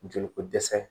Joli ko dɛsɛ